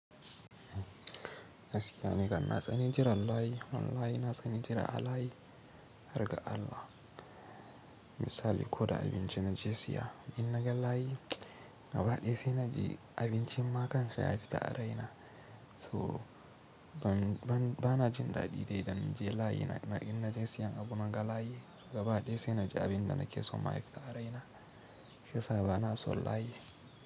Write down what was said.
Gaskiya nikam na tsani jirar layi. Wallahi na tsani jira a layi, har ga Allah. Misali, ko da abinci na je siya, idan na ga layi, gaba daya sai na ji abincin ma kansa ya fita a raina. So ba na jin daɗi dai idan na je layi na idan na je siyan abu na ga layi, gaba daya sai na ji abin da na ke son ma ya fita a raina. Shiyasa ba na son layi.